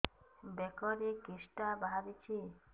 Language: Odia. ବେକରେ କିଶଟା ବାହାରିଛି